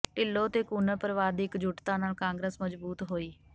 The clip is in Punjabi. ਿਢੱਲੋਂ ਤੇ ਕੂੰਨਰ ਪਰਿਵਾਰ ਦੀ ਇਕਜੁਟਤਾ ਨਾਲ ਕਾਂਗਰਸ ਮਜ਼ਬੂਤ ਹੋਈ